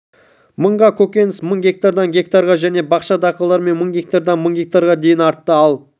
мыңға көкөніс мың гектардан гектарға және бақша дақылдары мың гектардан мың гектарға дейін артты ал